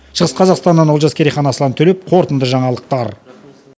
жас қазақстаннан олжас керейхан аслан төлепов қорытынды жаңалықтар